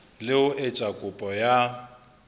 le ho etsa kopo ya